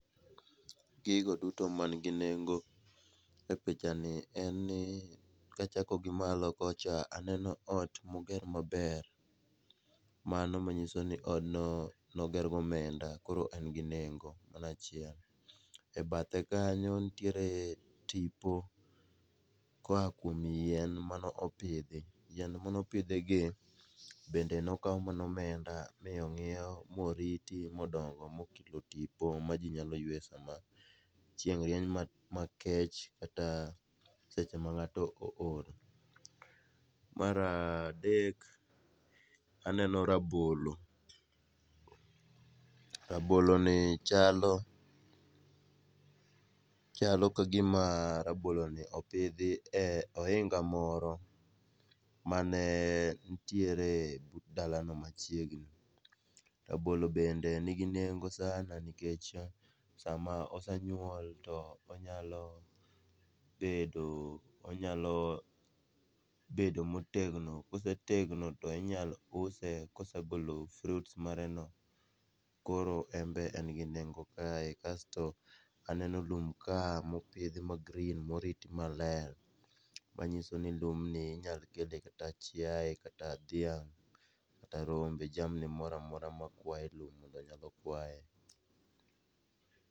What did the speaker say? Gigo duto manigi nengo e pichani en ni kachako gi malo kocha aneno ot moger maber, mano manyiso ni odno noger gi omenda koro en gi nengo. E bathe kanyo nitiere tipo koa kuom yien mano pidhi, yien manopidhi gi bende nokaw mana omenda ,mi ong'iew moriti modongo mokelo tipo ma i nyalo yweye sama chieng' rieny makech kata seche ma ng';ato ool. Mar adek, aneno rabolo, raboloni chalo ka gima raboloni opidhi e ohinga moro mane ntiere but dalano machiegni. Rabolo bende nigi nengo [ca]sana nikech sama osenyuol, onyalo bedo motegno, kosetegno, to inyalo use, kosegolo fruits mareno, koro en be en gi nengo kae, kasto aneno lum ka mopidhi ma green morit maler, manyiso ni lumni inyalo kele kata chiaye, kata dhiang' kata rombe, jamni mora mora makwaye lum mondo nyalo kwaye.